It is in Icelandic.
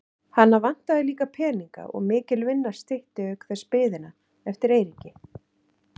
Hana vantaði líka peninga og mikil vinna stytti auk þess biðina eftir Eiríki.